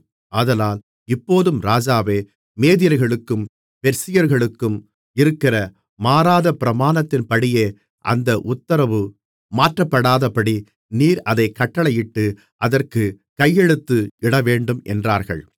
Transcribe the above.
ஆதலால் இப்போதும் ராஜாவே மேதியர்களுக்கும் பெர்சியர்களுக்கும் இருக்கிற மாறாத பிரமாணத்தின்படியே அந்த உத்திரவு மாற்றப்படாதபடி நீர் அதைக் கட்டளையிட்டு அதற்குக் கையெழுத்து இடவேண்டும் என்றார்கள்